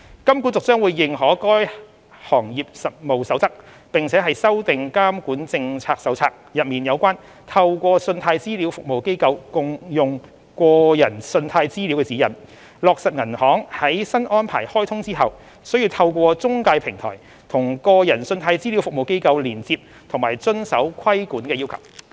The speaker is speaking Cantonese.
金管局將會認可該《行業實務守則》，並修訂《監管政策手冊》內有關"透過信貸資料服務機構共用個人信貸資料"的指引，落實銀行在新安排開通後須透過中介平台與個人信貸資料服務機構連接及遵守規管要求。